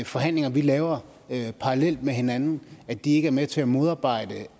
forhandlinger vi laver parallelt med hinanden ikke er med til at modarbejde